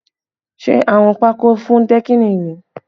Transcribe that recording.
Ṣé awọ́n pakó fún dẹ́kìnì rèé?